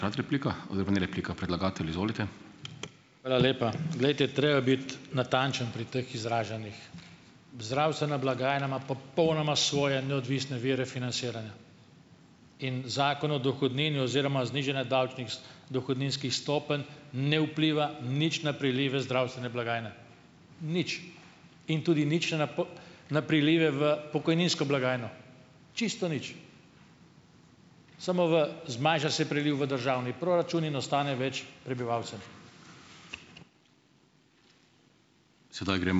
Hvala lepa. Glejte, treba je biti natančen pri teh izražanjih. Zdravstvena blagajna ima popolnoma svoje neodvisne vire financiranja in zakon o dohodnini oziroma znižanje davčnih dohodninskih stopenj ne vpliva nič na prilive zdravstvene blagajne, nič in tudi nič na na prilive v pokojninsko blagajno, čisto nič. Samo v zmanjša se priliv v državni proračun in ostane več prebivalcem.